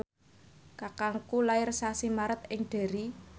kakangku lair sasi Maret ing Derry